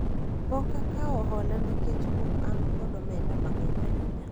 pok akawo hola nikech pok an kod omenda mang'eny ahinya